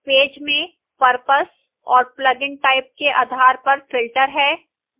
page में purpose और plugin type के आधार पर filters हैं